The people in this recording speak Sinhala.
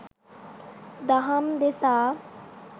දහම් දෙසා